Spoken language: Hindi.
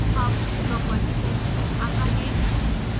अब property packages आता है